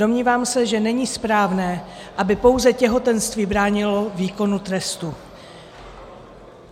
Domnívám se, že není správné, aby pouze těhotenství bránilo výkonu trestu.